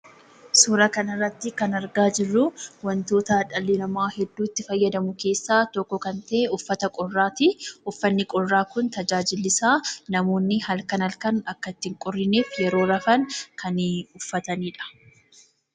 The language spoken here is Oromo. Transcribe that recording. Suuraa kan irraatti kanii argamu wantoota dhalli namaa hedduminan itti fayyadamu keessaa tokko kan ta'e uffata qorraati. Innis qorraa nama irraa ittisuuf kan fayyaduu dha.